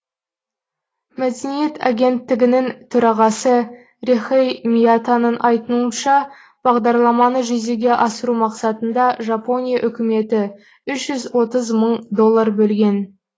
мәдениет агенттігінің төрағасы рехэй миятаның айтуынша бағдарламаны жүзеге асыру мақсатында жапония үкіметі үш жүз отыз мың доллар бөлген